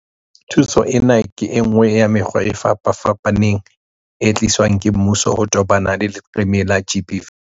Thuso ena ke enngwe ya mekgwa e fapafapaneng e tliswang ke mmuso ho tobana le leqeme la GBV.